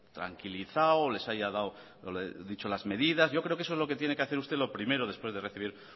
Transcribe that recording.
tranquilizado les haya dicho las medidas yo creo que eso es lo que tiene que hacer lo primero después de recibir